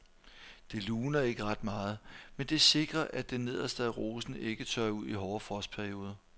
Det luner ikke ret meget, men det sikrer at det nederste af rosen ikke tørrer ud i hårde frostperioder.